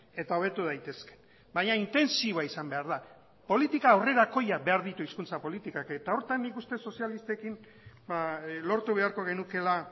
eta hobetu daitezke baina intentsiboa izan behar da politika aurrerakoiak behar ditu hizkuntza politikak eta horretan nik uste sozialistekin lortu beharko genukeela